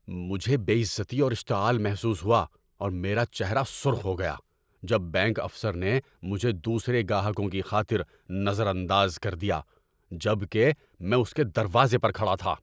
‏مجھے بے عزتی اور اشتعال محسوس ہوا اور میرا چہرہ سرخ ہو گیا جب بینک افسر نے مجھے دوسرے گاہکوں کی خاطر نظر انداز کر دیا جبکہ میں اس کے دروازے پر کھڑا تھا۔